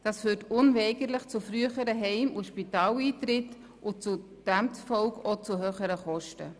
Dies wird unweigerlich zu frühen Heim- und Spitaleintritten führen und demzufolge zu höheren Kosten.